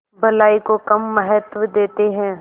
भलाई को कम महत्व देते हैं